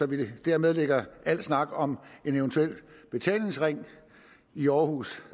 vi dermed lægger al snak om en eventuel betalingsring i aarhus